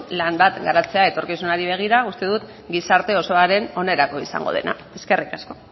lan bat garatzea etorkizunari begira uste dut gizarte osoaren onerako izango dena eskerrik asko